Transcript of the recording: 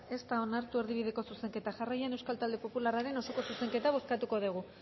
ez da onartu erdibideko zuzenketa jarraian euskal talde popularraren osoko zuzenketa bozkatuko dugu